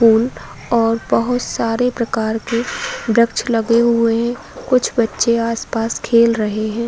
फूल और बहोत सारे प्रकार के वृक्ष लगे हुए हैं। कुछ बच्चे आसपास खेल रहे हैं।